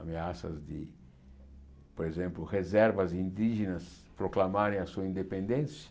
Ameaças de, por exemplo, reservas indígenas proclamarem a sua independência.